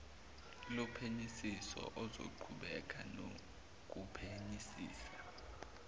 lophenyisiso ozoqhubeka nokuphenyisisa